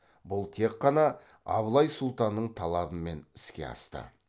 бұл тек қана абылай сұлтанның талабымен іске асты